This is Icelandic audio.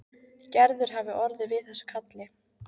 Gerður hafi orðið við þessu kalli.